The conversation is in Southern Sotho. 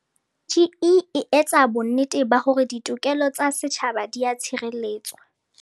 CGE e etsa bonnete ba hore ditokelo tsa setjhaba di a tshireletswa.